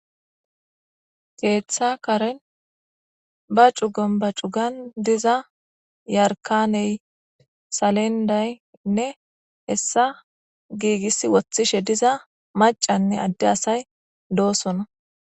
Keeththa karen ba cugon ba cugan diza yarkaney salendaynne hessa giigis woththishe diza macanne adde asay doosona.